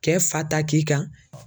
Cɛ fa t'a k'i kan.